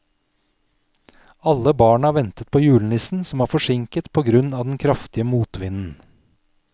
Alle barna ventet på julenissen, som var forsinket på grunn av den kraftige motvinden.